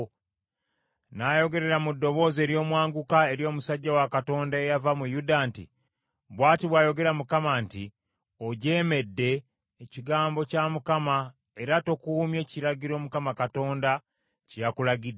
N’ayogerera mu ddoboozi ery’omwanguka eri omusajja wa Katonda eyava mu Yuda nti, “Bw’ati bw’ayogera Mukama nti, ‘Ojeemedde ekigambo kya Mukama era tokuumye kiragiro Mukama Katonda kye yakulagidde.